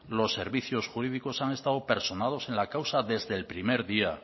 los servicios jurídicos han estado personados en la causa desde el primer día